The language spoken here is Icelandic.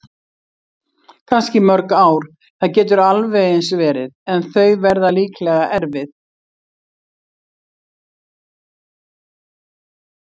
Kannski í mörg ár, það getur alveg eins verið- en þau verða líklega erfið.